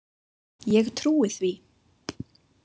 Ég trúi því.